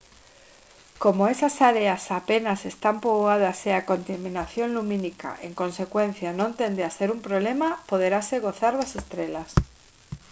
como esas áreas apenas están poboadas e a contaminación lumínica en consecuencia non tende a ser un problema poderase gozar das estrelas